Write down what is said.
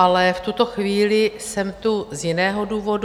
Ale v tuto chvíli jsem tu z jiného důvodu.